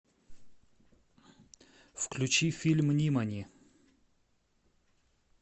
включи фильм нимани